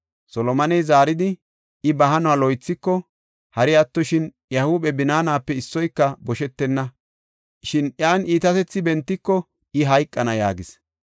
Solomoney zaaridi, “I ba hanuwa loythiko, hari attoshin iya huuphe binaanape issoyka boshetenna; shin iyan iitatethi bentiko I hayqana” yaagis.